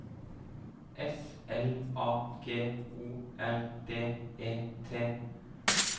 S L A G O R D E T